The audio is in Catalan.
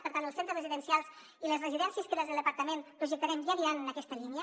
per tant els centres residencials i les residències que des del departament projectarem ja aniran en aquesta línia